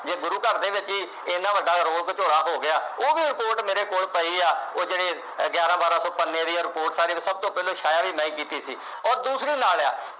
ਜੇ ਗੁਰੂ ਘਰ ਦੇ ਵਿਚ ਹੀ ਇੰਨਾ ਵੱਡਾ ਰੋਲ ਘਚੋਲਾ ਹੋ ਗਿਆ ਉਹ ਵੀ report ਮੇਰੇ ਕੋਲ ਪਈ ਆ ਉਹ ਜਿਹੜੇ ਗਿਆਰਾਂ ਬਾਰਾਂ ਸੌ ਪੰਨੇ ਦੀ report ਸਾਰੀ ਸਭ ਤੋਂ ਪਹਿਲਾਂ ਛਾਇਆ ਵੀ ਮੈਂ ਹੀ ਕੀਤੀ ਔਰ ਦੂਸਰੀ ਲਾ ਲਿਆ